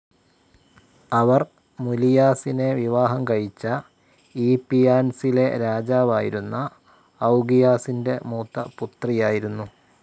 അവർ മുലിയാസിനെ വിവാഹം കഴിച്ച ഈപ്പിയാൻസിലെ രാജാവായിരുന്ന ഔഗിയാസ് ൻ്റെ മൂത്തപുത്രിയായിരുന്നു.